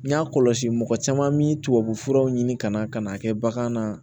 N y'a kɔlɔsi mɔgɔ caman min tubabufuraw ɲini ka na ka n'a kɛ bagan na